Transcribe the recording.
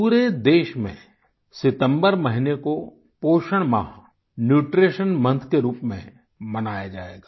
पूरे देश में सितम्बर महीने को पोषण माह न्यूट्रीशन मोंथ के रूप में मनाया जाएगा